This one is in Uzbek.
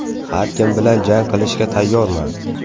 Har kim bilan jang qilishga tayyorman.